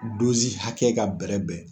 hakɛ ka bɛrɛ bɛn.